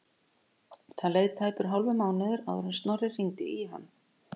Það leið tæpur hálfur mánuður áður en Snorri hringdi í hann.